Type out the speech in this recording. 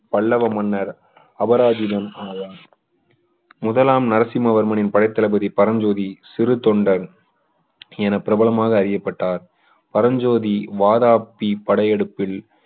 பல்லவ மன்னர் அபராசிதன் ஆவார் முதலாம் நரசிம்மவர்மனின் படைத்தளபதி பரஞ்சோதி சிறுதொண்டன் என பிரபலமாக அறியப்பட்டார் பரஞ்சோதி வாதாபி படையெடுப்பில்